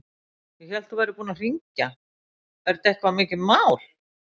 Ég hélt að þú værir búinn að hringja. er þetta eitthvað mikið mál?